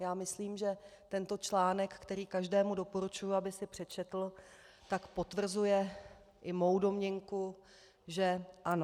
Já myslím, že tento článek, který každému doporučuji, aby si přečetl, tak potvrzuje i mou domněnku, že ano.